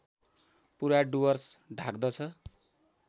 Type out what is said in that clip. पुरा डुवर्स ढाक्दछ